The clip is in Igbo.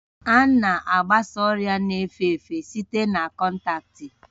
A na-agbasa ọrịa na-efe efe site na kọntaktị